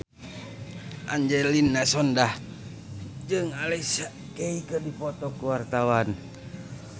Angelina Sondakh jeung Alicia Keys keur dipoto ku wartawan